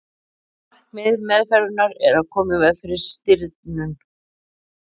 markmið meðferðarinnar er að koma í veg fyrir stirðnun